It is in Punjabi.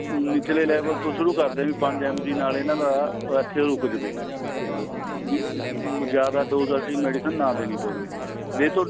ਨਿਚਲੇ level ਤੋਂ ਸ਼ੁਰੂ ਕਰਦੇ ਪੰਜ MG ਨਾਲ ਇਹਨਾ ਦਾ ਇੱਥੇ ਰੁਕ ਜਾਵੇ ਜਿਆਦਾ dose ਵਾਲੀ medicine ਨਾ ਦੇਣੀ ਪਵੇ ਜੇ ਤੁਹਾਡਾ